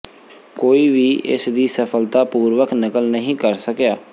ਕੋਈ ਵੀ ਇਸ ਦੀ ਸਫਲਤਾਪੂਰਵਕ ਨਕਲ ਨਹੀਂ ਕਰ ਸਕਿਆ